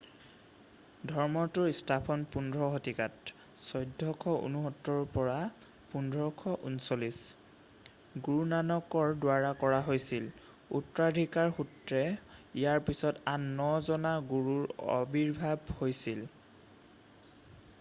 ধৰ্মটোৰ স্থাপন 15 শতিকাত 1469-1539 গুৰুনানকৰ দ্বাৰা কৰা হৈছিল। উত্তৰাধিকাৰ সূত্ৰে ইয়াৰ পিছত আন 9জনা গুৰুৰ আবিৰ্ভাৱ হৈছিল।